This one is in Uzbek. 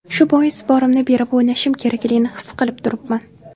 Shu bois borimni berib o‘ynashim kerakligini his qilib turibman.